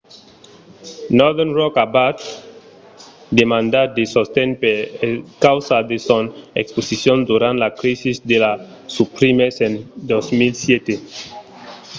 northern rock aviá demandat de sosten per encausa de son exposicion durant la crisi de las subprimes en 2007